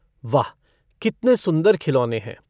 वाह कितने सुन्दर खिलौने हैं।